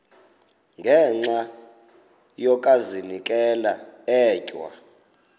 ngenxa yokazinikela etywa